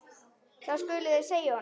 Það skuluð þið segja honum!